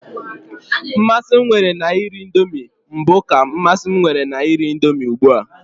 Mmasị m nwere na iri indomi na mbụ ka mmasị m nwere na iri indomi ugbua.